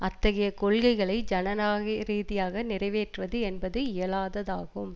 அத்தகைய கொள்கைகளை ஜனநாக ரீதியாக நிறைவேற்றுவது என்பது இயலாததாகும்